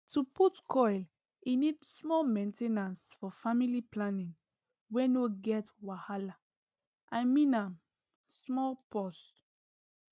to put coile need small main ten ance for family planning wey no get wahalai mean am small pause